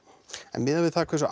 en miðað við það hversu